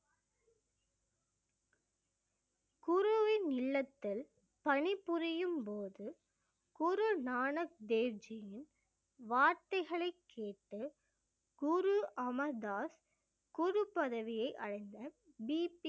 குருவின் இல்லத்தில் பணிபுரியும் போது குரு நானக் தேவ் ஜியின் வார்த்தைகளைக் கேட்டு குரு அமர் தாஸ் குரு பதவியை அடைந்த பிபி